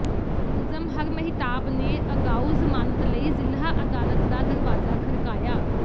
ਮੁਲਜ਼ਮ ਹਰਮਹਿਤਾਬ ਨੇ ਅਗਾਊਾ ਜ਼ਮਾਨਤ ਲਈ ਜ਼ਿਲ੍ਹਾ ਅਦਾਲਤ ਦਾ ਦਰਵਾਜ਼ਾ ਖੜਕਾਇਆ